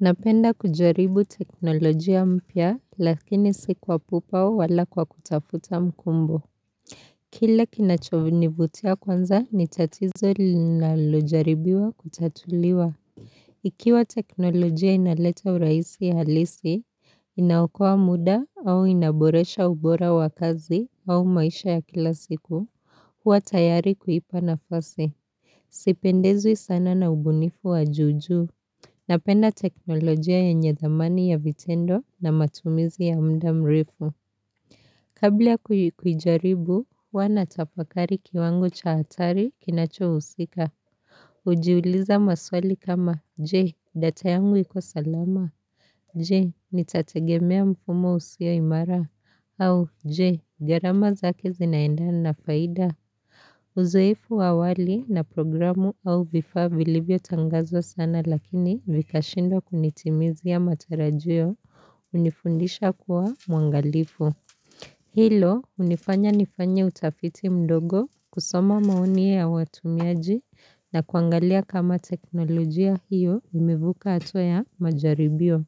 Napenda kujaribu teknolojia mpya lakini siku wa pupao wala kwa kutafuta mkumbo. Kile kinacho nivutia kwanza ni tatizo linalojaribiwa kutatuliwa. Ikiwa teknolojia inaleta uraisi halisi, inaokowa muda au inaboresha ubora wa kazi au maisha ya kila siku. Huwa tayari kuipa nafasi. Sipendezwi sana na ubunifu wa juu juu. Napenda teknolojia yenye dhamani ya vitendo na matumizi ya mda mrefu. Kabla kuijaribu, huwa na tafakari kiwango cha hatari kinacho husika. Ujiuliza maswali kama, je, data yangu iko salama. Je, nitategemea mfumo usio imara. Au, je, gharama zake zinaenda na faida. Uzoefu wa awali na programu au vifaa vilivyo tangazo sana lakini vikashindwa kunitimizia matarajiyo unifundisha kuwa muangalifu. Hilo unifanya nifanya utafiti mdogo kusoma maoni ya watumiaji na kuangalia kama teknolojia hiyo umevuka hatua ya majaribio.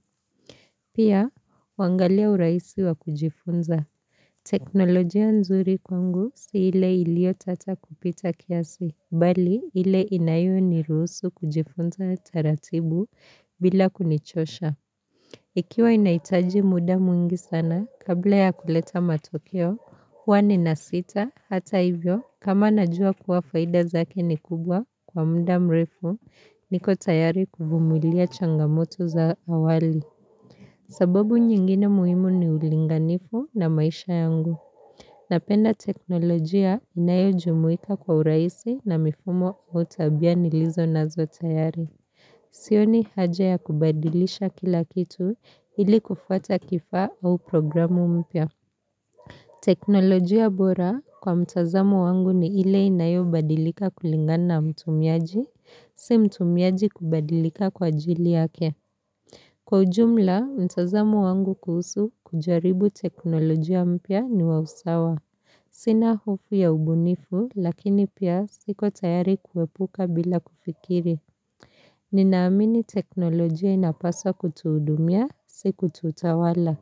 Pia, uangalia uraisi wa kujifunza. Teknolojia nzuri kwangu siile ilio tata kupita kiasi Bali, ile inayo niruhusu kujifunza taratibu bila kunichosha Ikiwa inahitaji muda mwingi sana, kabla ya kuleta matokeo, huwa nina sita hata ivyo kama najua kuwa faida zake ni kubwa kwa mda mrefu, niko tayari ku vumilia changamoto za awali sababu nyingine muhimu ni ulinganifu na maisha yangu Napenda teknolojia inayo jumuika kwa uraisi na mifumo ua tabia nilizo nazo tayari. Sioni haja ya kubadilisha kila kitu ili kufuata kifaa au programu mpya. Teknolojia bora kwa mtazamo wangu ni ile inayo badilika kulingana na mtumiaji, si mtumiaji kubadilika kwa ajili yake. Kwa ujumla, mtazamo wangu kuhusu kujaribu teknolojia mpya ni wausawa. Sina hofu ya ubunifu, lakini pia siko tayari kuepuka bila kufikiri. Ninaamini teknolojia inapasa kutuudumia, siku tutawala.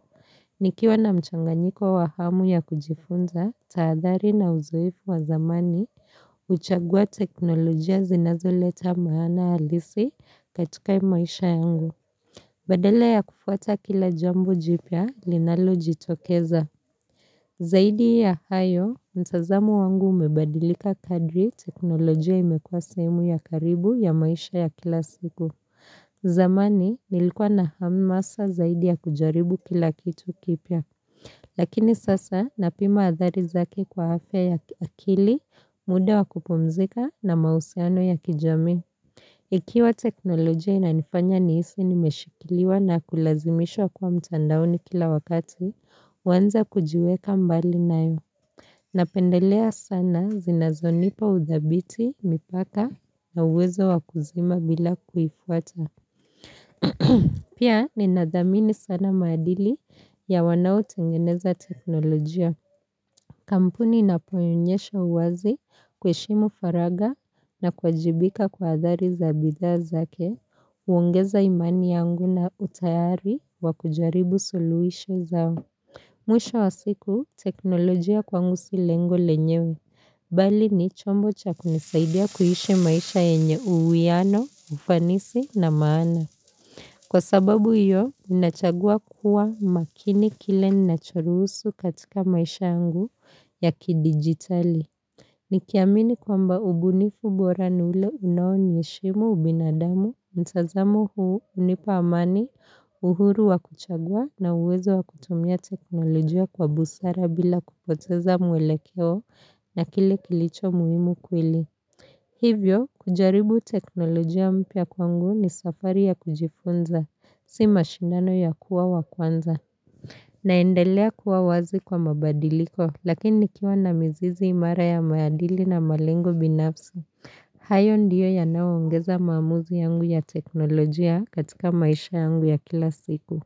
Nikiwa na mchanganyiko wahamu ya kujifunza, taadhari na uzoefu wa zamani, uchagua teknolojia zinazoleta maana halisi katika hii maisha yangu. Badala ya kufuata kila jambo jipya linalo jitokeza. Zaidi ya hayo, mtazamu wangu umebadilika kadri teknolojia imekua saimu ya karibu ya maisha ya kila siku. Zamani, nilikuwa na ham masa zaidi ya kujaribu kila kitu kipya. Lakini sasa, napima athari zake kwa afya ya akili, muda wa kupumzika na mausiano ya kijami. Ikiwa teknolojia inanifanya niisi nimeshikiliwa na kulazimishwa kwa mtandaoni kila wakati, waanze kujiweka mbali nayo. Napendelea sana zinazonipa udhabiti, mipaka na uwezo wakuzima bila kuifuata. Pia ninadhamini sana maadili ya wanao tengeneza teknolojia. Kampuni inapoyonyesha uwazi kuheshimu faraga na kuajibika kwa adhari za bidha zake, uongeza imani yangu na utayari wakujaribu soluhisho zao. Mwisho wa siku teknolojia kwangu si lengo lenyewe, bali ni chombo cha kunisaidia kuishi maisha enye uwiano, ufanisi na maana. Kwa sababu hiyo, nachagua kuwa makini kile ninachorusu katika maisha yangu ya ki-digitali. Nikiamini kwamba ubunifu bora ni ule unao ni heshimu ubinadamu, mtazamo huu unipa amani uhuru wa kuchagua na uwezo wa kutumia teknolojia kwa busara bila kupoteza mwelekeo na kile kilicho muhimu kweli. Hivyo, kujaribu teknolojia mpya kwangu ni safari ya kujifunza, si mashindano ya kuwa wa kwanza naendelea kuwa wazi kwa mabadiliko, lakini nikiwa na mizizi imara ya maaadili na malengo binafsi hayo ndiyo ya nao ongeza maamuzi yangu ya teknolojia katika maisha yangu ya kila siku.